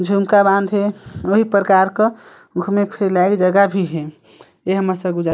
झुमका बांध हे कई प्रकार का घूमे फिरे लाइक जगह भी हे ये हमर सरगुजा--